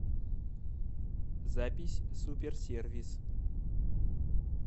запись супер сервис